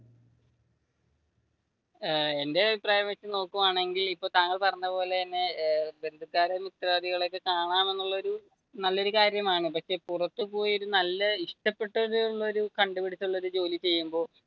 എന്റെ അഭിപ്രായം വെച്ച് നോക്കുകയാണെങ്കിൽ ഇപ്പോൾ താങ്കൾ പറഞ്ഞ പോലെ തന്നെ ബന്ധുക്കാരേം മിത്രാദികളേം കാണാം എന്നുള്ളയൊരു നല്ലയൊരു കാര്യമാണ്. പക്ഷെ പുറത്തു പോയി നല്ല ഇഷ്ടപെട്ടുള്ളൊര് കണ്ടുപിടിച്ചു ഒരു ജോലി ചെയ്യുമ്പോൾ